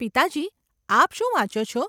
પિતાજી, આપ શું વાંચો છો?